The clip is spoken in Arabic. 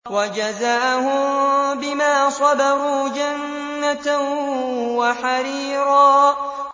وَجَزَاهُم بِمَا صَبَرُوا جَنَّةً وَحَرِيرًا